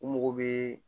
U mago bɛ